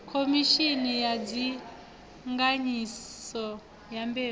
khomishini ya ndinganyiso ya mbeu